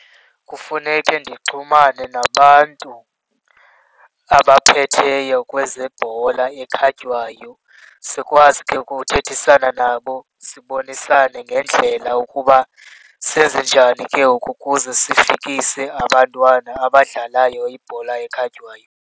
Kufuneke ndinxhumane nabantu abaphetheyo kwezebhola ekhatywayo. Sikwazi ke ngoku ukuthethisana nabo, sibonisane ngendlela ukuba senze njani ke ngoku ukuze sifikise abantwana abadlalayo ibhola ekhatywayo.